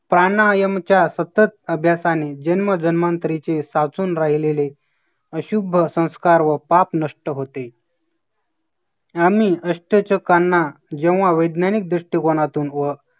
प्राणायामच्या सतत अभ्यासाने जन्म धर्मांतरीचे साचून राहिलेले अशुभ संस्कार व पाप नष्ट होते. आम्ही अष्टचकांना जेव्हा वैज्ञानिक दृष्टिकोनातून व